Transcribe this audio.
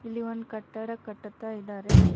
ಇಲ್ಲಿ ಒಂದ್ ಕಟ್ಟಡ ಕಟ್ಟುತ್ತಾ ಇದ್ದಾರೆ.